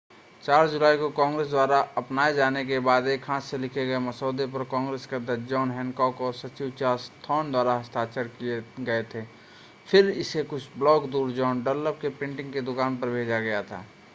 4 जुलाई को कांग्रेस द्वारा अपनाए जाने के बाद एक हाथ से लिखे गए मसौदे पर कांग्रेस के अध्यक्ष जॉन हैनकॉक और सचिव चार्ल्स थ्रॉन द्वारा हस्ताक्षर किए गए थे फिर इसे कुछ ब्लॉक दूर जॉन डनलप की प्रिंटिंग की दुकान पर भेजा गया था